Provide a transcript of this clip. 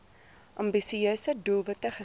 ambisieuse doelwitte gestel